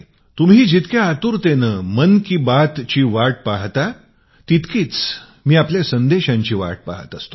तुम्ही जितकी आतुरतेने मन की बातची वाट पाहता तितकीच मी आपल्या संदेशाची वाट पाहत असतो